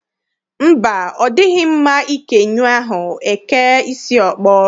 Mba, ọ dịghị mma ike nyụọ ahụ, e kee isi ọkpọ.